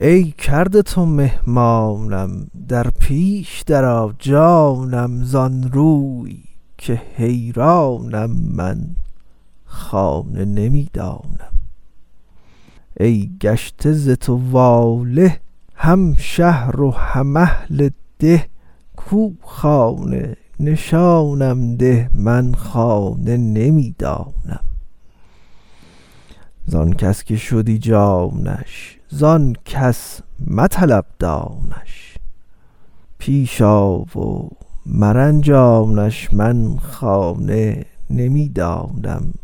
ای کرده تو مهمانم در پیش درآ جانم زان روی که حیرانم من خانه نمی دانم ای گشته ز تو واله هم شهر و هم اهل ده کو خانه نشانم ده من خانه نمی دانم زان کس که شدی جانش زان کس مطلب دانش پیش آ و مرنجانش من خانه نمی دانم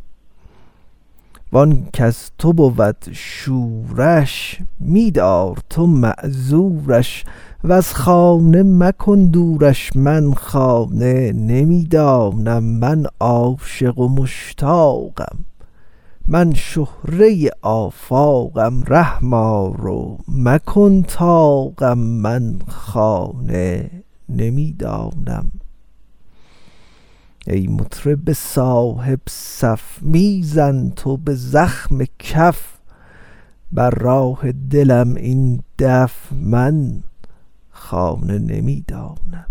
وان کز تو بود شورش می دار تو معذورش وز خانه مکن دورش من خانه نمی دانم من عاشق و مشتاقم من شهره آفاقم رحم آر و مکن طاقم من خانه نمی دانم ای مطرب صاحب صف می زن تو به زخم کف بر راه دلم این دف من خانه نمی دانم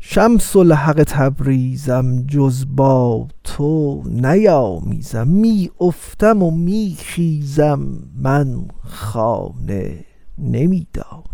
شمس الحق تبریزم جز با تو نیامیزم می افتم و می خیزم من خانه نمی دانم